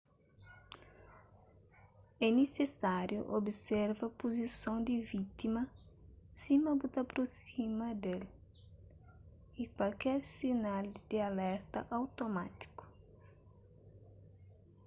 é nisisáriu observa puzison di vítima sima bu ta aprosima di-l y kualker sinal di alerta automátiku